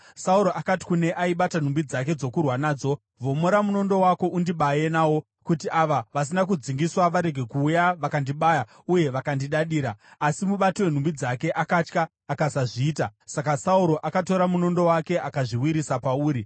Sauro akati kune aibata nhumbi dzake dzokurwa nadzo, “Vhomora munondo wako undibaye nawo, kuti ava vasina kudzingiswa varege kuuya vakandibaya uye vakandidadira.” Asi mubati wenhumbi dzake akatya akasazviita; saka Sauro akatora munondo wake akazviwisira pauri.